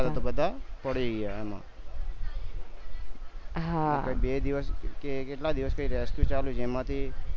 row બધા પડી ગયા એમ બે દિવસ કે કેટલા દિવસ rescue ચાલ્યું જેમાંથી